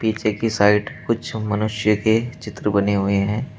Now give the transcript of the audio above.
पीछे की साइड कुछ मनुष्य के चित्र बने हुए है।